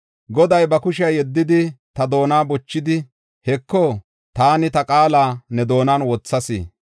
Goday ba kushiya yeddidi, ta doona bochidi, “Heko; taani ta qaala ne doonan wothas.